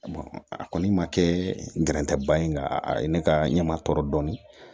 a kɔni ma kɛ n gɛrɛtɛ ba ye nka a ye ne ka ɲɛma tɔ dɔn